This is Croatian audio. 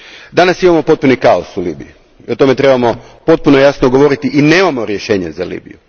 Danas imamo potpuni kaos u Libiji i o tome trebamo potpuno jasno govoriti i nemamo rješenje za Libiju.